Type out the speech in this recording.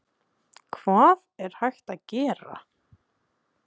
Steingrímur Þórhallsson, organisti í Neskirkju: Hvað er hægt að gera?